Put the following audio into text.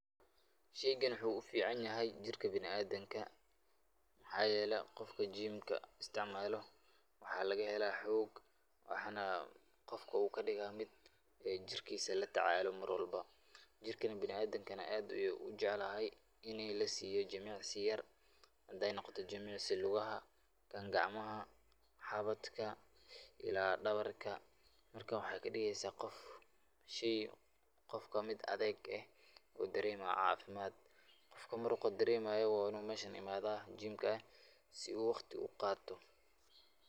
Sheygani wuxu u ficanyahay jirka biniadamka. Mxa yele qofka jimka isticmalo mxa lagahela xog waxana lagahela qofk au kadiga latacalo mar walbo, ini lasiyo jimicsi yar, hadey noqoto jimicsi lugaha, gacmaha, xabadka ila dabarka, jirka waxey kadigesa adeg , qofka wuxu daremaya cafimad .Qofka muruqa daremayo wa inu imada meshan jimka si u waqti u qato.